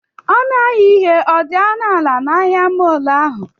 ọnụ ahịa ihe dị ọnụ ala na ahịa mọọlụ ahụ?